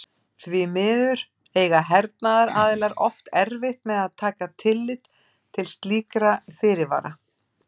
Því miður eiga hernaðaraðilar oft erfitt með að taka tillit til slíkra fyrirvara.